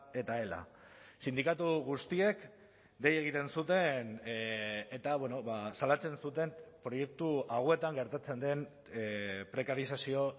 eta ela sindikatu guztiek dei egiten zuten eta salatzen zuten proiektu hauetan gertatzen den prekarizazio